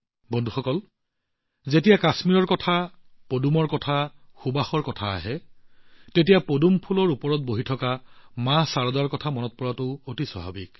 বন্ধুসকল যেতিয়া কাশ্মীৰৰ কথা কোৱা হয় পদুমৰ কথা কোৱা হয় ফুলৰ কথা কোৱা কয় সুবাসৰ কথা কোৱা কয় তেতিয়া পদুম ফুলত বহি থকা মা শাৰদাক মনত পেলোৱাটো অতি স্বাভাৱিক